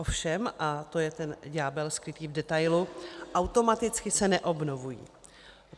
Ovšem - a to je ten ďábel skrytý v detailu - automaticky se neobnovují.